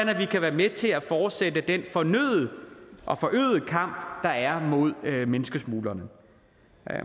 kan være med til at fortsætte den fornødne og forøgede kamp der er mod menneskesmuglerne